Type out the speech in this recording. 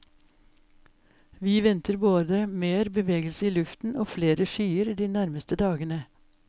Vi venter både mer bevegelse i luften og flere skyer de nærmeste dagene.